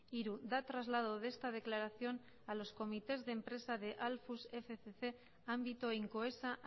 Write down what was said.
hiru da traslado de esta declaración a los comités de empresa de alfus fcc ámbito eta incoesa